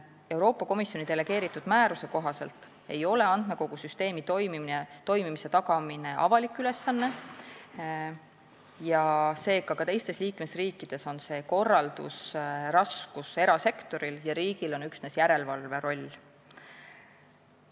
Euroopa Komisjoni delegeeritud määruse kohaselt ei ole andmekogu süsteemi toimimise tagamine avalik ülesanne ja seega on ka teistes liikmesriikides korraldusraskus erasektoril ja riigil on üksnes järelevalveroll.